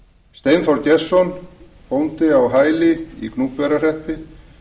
steinþór gestsson bóndi á hæli í gnúpverjahreppi